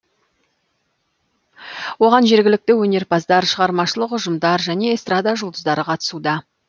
оған жергілікті өнерпаздар шығармашылық ұжымдар және эстрада жұлдыздары қатысуда